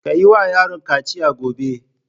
Ka yi wa yaron kaciya gobe!